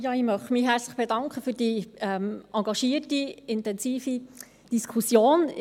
Ich möchte mich herzlich für die engagierte und intensive Diskussion bedanken.